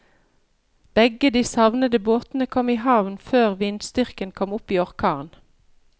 Begge de savnede båtene kom i havn før vindstyrken kom opp i orkan.